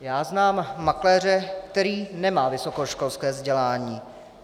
Já znám makléře, který nemá vysokoškolské vzdělání.